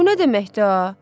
Bu nə deməkdir a?